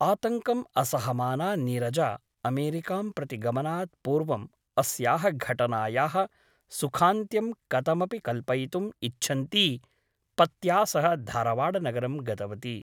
आतङ्कम् असहमाना नीरजा अमेरिकां प्रति गमनात् पूर्वम् अस्याः घटनायाः सुखान्त्यं कथमपि कल्पयुितम् इच्छन्ती पत्या सह धारवाडनगरं गतवती ।